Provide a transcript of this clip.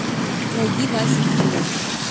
найди вася кимо